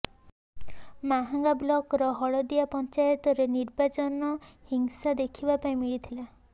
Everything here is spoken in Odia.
ମାହାଙ୍ଗା ବ୍ଲକର ହଳଦିଆ ପଞ୍ଚାୟତରେ ନିର୍ବାଚନ ହିଂସା ଦେଖିବା ପାଇଁ ମିଳିଥିଲା